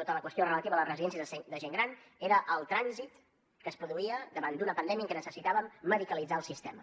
tota la qüestió relativa a les residències de gent gran era el trànsit que es produïa davant d’una pandèmia en què necessitàvem medicalitzar el sistema